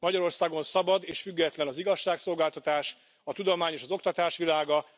Magyarországon szabad és független az igazságszolgáltatás, a tudomány és az oktatás világa.